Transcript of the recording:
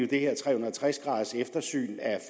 det her tre hundrede og tres graders eftersyn af